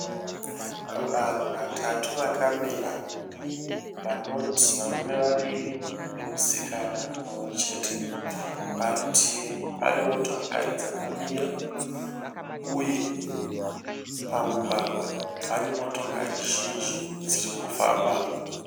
Vanhu vatatu vakamira, vanoti varume vaviri nemusikana mumwechete. Parutivi pane motokari dzakamira uye pamugwagwa pane motokari zhinji dziri kufambamo.